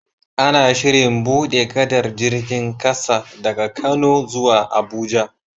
Ana Shirin buɗe gadar jirgin ƙasa daga kano zuwa abuja